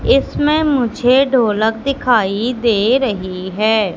इसमें मुझे ढोलक दिखाई दे रही है।